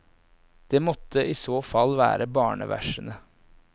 Det måtte i så fall være barneversene.